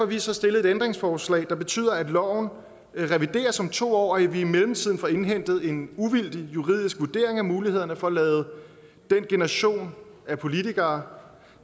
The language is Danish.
vi så stillet et ændringsforslag der betyder at loven revideres om to år og at vi i mellemtiden får indhentet en uvildig juridisk vurdering af mulighederne for at lade den generation af politikere